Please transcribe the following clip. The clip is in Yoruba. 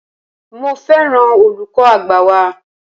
Mo féràn olùkọ́ àgbà wa.